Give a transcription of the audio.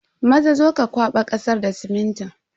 Maza, zo ka kwaba kasar da siminti.